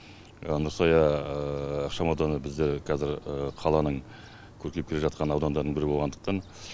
нұрсая ықшамауданы бізде қазір қаланың көркейіп келе жатқан аудандарының бірі болғандықтан